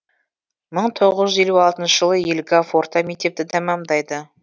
мың тоғыз жүз елу алтыншы жылы елгав орта мектепті тәмамдайды